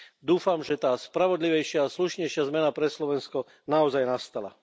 Dúfam, že tá spravodlivejšia a slušnejšia zmena pre Slovensko naozaj nastala.